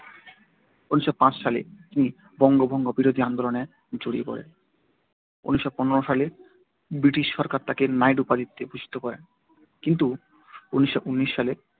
ঊনিশোও পাঁচ সালে তিনি বঙ্গভঙ্গ-বিরোধী আন্দোলনে জড়িয়ে পড়েন। এক হাজার নয় শো পনেরো সালে ব্রিটিশ সরকার তাকে 'নাইট' উপাধিতে ভূষিত করেন। কিন্তু ঊনিশোও ঊনিশ সালে